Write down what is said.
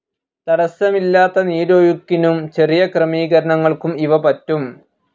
തടസ്സമില്ലത്ത നീരൊഴുക്കിനും ചെറിയ ക്രമീകരണങ്ങൾക്കും ഇവ പറ്റും.